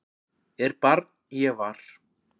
er barn ég var